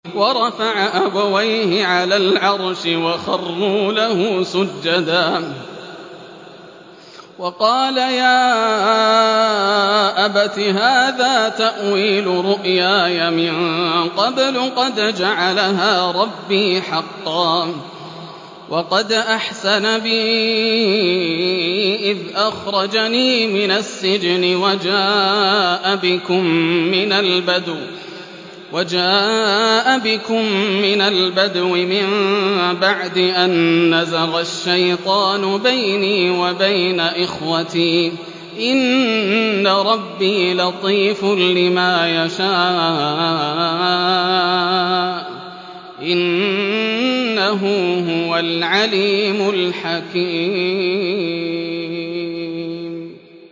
وَرَفَعَ أَبَوَيْهِ عَلَى الْعَرْشِ وَخَرُّوا لَهُ سُجَّدًا ۖ وَقَالَ يَا أَبَتِ هَٰذَا تَأْوِيلُ رُؤْيَايَ مِن قَبْلُ قَدْ جَعَلَهَا رَبِّي حَقًّا ۖ وَقَدْ أَحْسَنَ بِي إِذْ أَخْرَجَنِي مِنَ السِّجْنِ وَجَاءَ بِكُم مِّنَ الْبَدْوِ مِن بَعْدِ أَن نَّزَغَ الشَّيْطَانُ بَيْنِي وَبَيْنَ إِخْوَتِي ۚ إِنَّ رَبِّي لَطِيفٌ لِّمَا يَشَاءُ ۚ إِنَّهُ هُوَ الْعَلِيمُ الْحَكِيمُ